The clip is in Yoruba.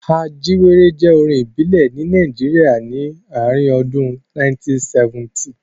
Ajíwéré jẹ́ orin ìbílẹ̀ ní Nàìjíríà ni ààrin ọdún 1970.